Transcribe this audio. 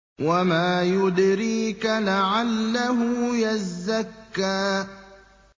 وَمَا يُدْرِيكَ لَعَلَّهُ يَزَّكَّىٰ